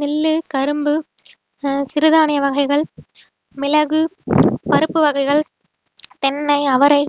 நெல்லு கரும்பு ஆஹ் சிறுதானிய வகைகள் மிளகு பருப்பு வகைகள் தென்னை அவரை